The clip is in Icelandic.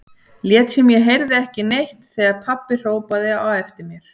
Lét sem ég heyrði ekki neitt þegar pabbi hrópaði á eftir mér.